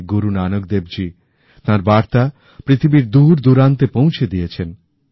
শ্রী গুরু নানক দেবজী তাঁর বার্তা পৃথিবীর দূরদূরান্তে পৌঁছে দিয়েছেন